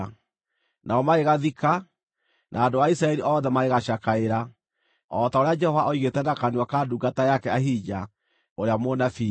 Nao magĩgathika, na andũ a Isiraeli othe magĩgacakaĩra, o ta ũrĩa Jehova oigĩte na kanua ka ndungata yake Ahija, ũrĩa mũnabii.